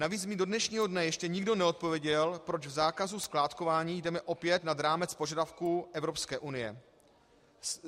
Navíc mi do dnešního dne ještě nikdo neodpověděl, proč v zákazu skládkování jdeme opět nad rámec požadavků Evropské unie.